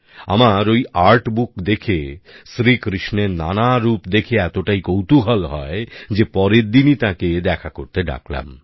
আমার ওই আর্টবুক দেখে শ্রীকৃষ্ণের নানা রূপ দেখে এতটাই কৌতূহল হয় যে পরের দিনই তাকে দেখা করতে ডাকলাম